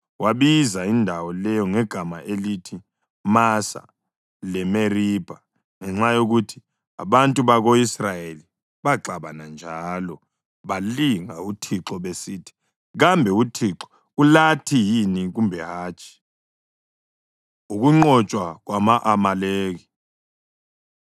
Wabiza indawo leyo ngegama elithi Masa leMeribha ngenxa yokuthi abantu bako-Israyeli baxabana njalo balinga uThixo besithi “Kambe uThixo ulathi yini kumbe hatshi?” Ukunqotshwa Kwama-Amaleki